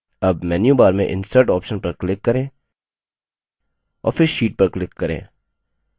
अब मेन्यूबार में insert option पर click करें और फिर sheet पर click करें